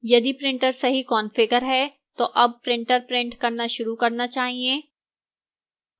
यदि printer सही configure है तो अब printer printer करना शुरू करना चाहिए